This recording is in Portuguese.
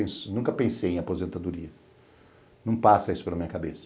Eu nunca pensei em aposentadoria, não passa isso pela minha cabeça.